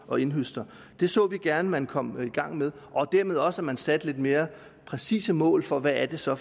og indhøster det så vi gerne at man kom i gang med og dermed også at man satte lidt mere præcise mål for hvad det så